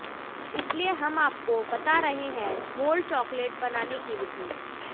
इसलिए हम आपको बता रहे हैं मोल्ड चॉकलेट बनाने की विधि